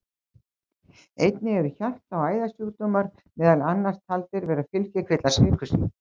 Einnig eru hjarta- og æðasjúkdómar meðal annars taldir vera fylgikvillar sykursýki.